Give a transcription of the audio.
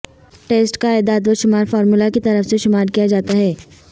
test کا اعداد و شمار فارمولہ کی طرف سے شمار کیا جاتا ہے